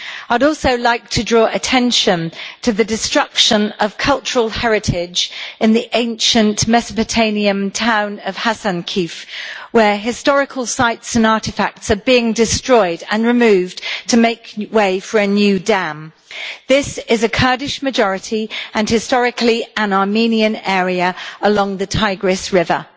I would also like to draw attention to the destruction of cultural heritage in the ancient Mesopotamian town of Hasankeyf, where historical sites and artefacts are being destroyed and removed to make way for a new dam. This is a Kurdish majority and, historically, an Armenian area along the Tigris River.